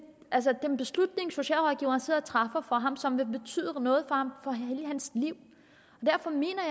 altså en beslutning socialrådgiveren sidder og træffer for barnet og som vil betyde noget for hele dets liv derfor mener